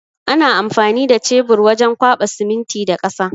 Ana amfani da cebur wajen kwaɓa siminti da ƙasa.